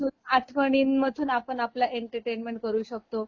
मग आठवणीं मधून आपण आपला एंटरटेनमेंट करू शकतो